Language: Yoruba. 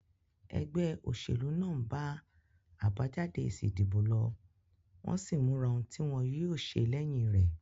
Egbé òsèlú náà n ba àbájáde èsì ìdìbò lo, wón sín móra oun tí wón yío se léyin rè